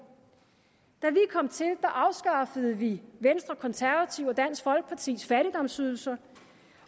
da afskaffede vi venstre konservative og dansk folkepartis fattigdomsydelser